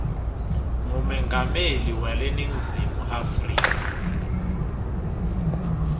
ngumengameli weleningizimu afrika